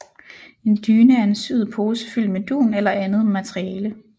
En dyne er en syet pose fyldt med dun eller andet materiale